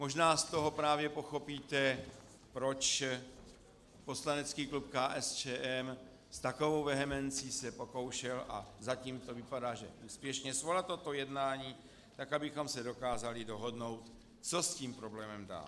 Možná z toho právě pochopíte, proč poslanecký klub KSČM s takovou vehemencí se pokoušel, a zatím to vypadá, že úspěšně, svolat toto jednání tak, abychom se dokázali dohodnout, co s tím problémem dál.